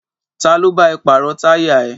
Ta ló bá ẹ pàrọ̀ táyà ẹ?